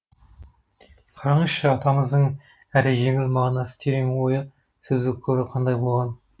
қараңызшы атамыздың әрі жеңіл мағынасы терең ойы сөздік қоры қандай болған